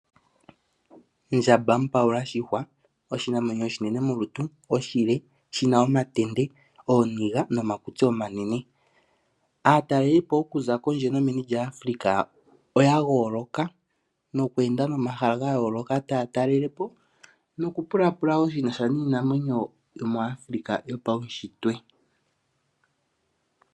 Ondjamba mupawula shihwa, oshinamwenyo oshinene molutu, oshile shi na omatenda, ooniga nomakutsi omanene. Aataleli oku za pondje nomeni lyaAfrica oya goloka nokweenda nomaha gayoloka taya talele po noku pulapula woo shinasha niinamwenyo yomuAfrica yopawushitwe.